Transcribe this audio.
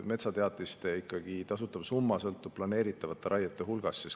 Metsateatiste tasutav summa sõltub ikkagi planeeritavate raiete hulgast.